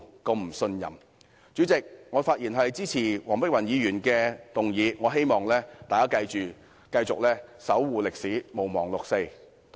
代理主席，我發言支持黃碧雲議員的議案，希望大家繼續守護歷史，毋忘六四。